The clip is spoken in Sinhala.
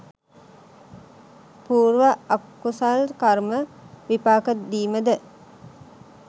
පූර්ව අකුසල් කර්ම විපාක දීමද